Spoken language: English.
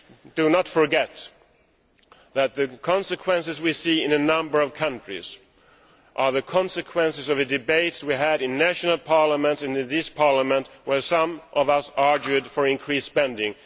Do not forget that the consequences we see in a number of countries are the consequences of the debates we had in national parliaments, and in this Parliament, when some of us argued for increased spending.